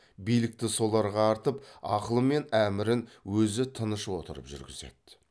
билікті соларға артып ақылы мен әмірін өзі тыныш отырып жүргізеді